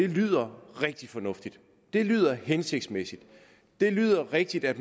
lyder rigtig fornuftigt det lyder hensigtsmæssigt det lyder rigtigt at